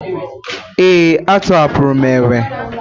Ee, a tọhapụrụ m enwe